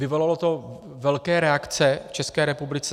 Vyvolalo to velké reakce v České republice.